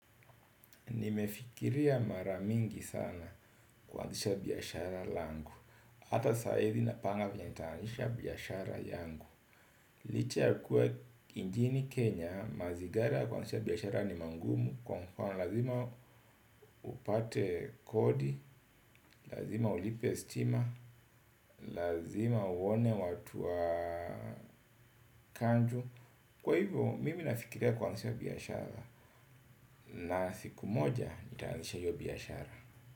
Nimefikiria mara mingi sana ku anzisha biashara yangu. Hata saa hizi napanga vyenye nita anzisha biashara yangu. Licha ya kuwa nchini Kenya mazingira kuanzisha biashara ni magumu kwa mfano lazima upate kodi, lazima ulipe stima, lazima uone watu wa kanju. Kwa hivyo mimi nafikiria kuanzisha biashara na siku moja nita anzisha hio biashara.